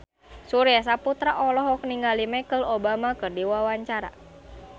Surya Saputra olohok ningali Michelle Obama keur diwawancara